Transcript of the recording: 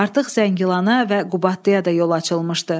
Artıq Zəngilana və Qubadlıya da yol açılmışdı.